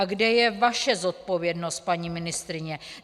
A kde je vaše zodpovědnost, paní ministryně?